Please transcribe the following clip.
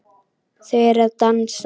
Þau eru að dansa